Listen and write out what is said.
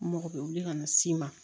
N mɔgɔ bɛ wuli ka na s'i ma